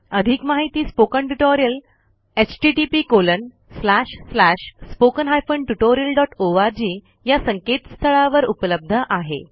अधिक माहिती spoken tutorial httpspoken tutorialorg या संकेतस्थळावर उपलब्ध आहे